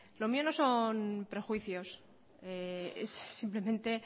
lo mío no son prejuicios es simplemente